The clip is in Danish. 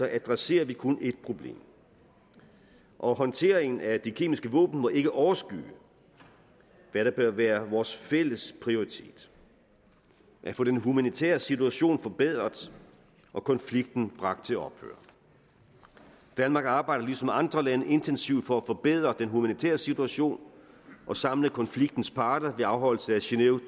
adresserer vi kun ét problem og håndteringen af de kemiske våben må ikke overskygge hvad der bør være vores fælles prioritet at få den humanitære situation forbedret og konflikten bragt til ophør danmark arbejder ligesom andre lande intensivt for at forbedre den humanitære situation og samle konfliktens parter ved afholdelse af genève